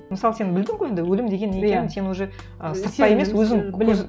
мысалы сен білдің ғой енді өлім деген не екенін сен уже ы сырттай емес өзің